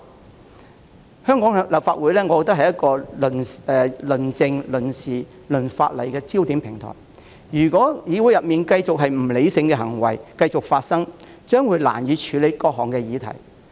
我認為香港立法會是一個論政、論事、論法例的焦點平台，如果議會內繼續出現不理性的行為，將難以處理各項議題。